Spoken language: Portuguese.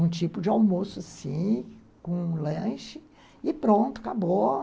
um tipo de almoço assim, com um lanche, e pronto, acabou.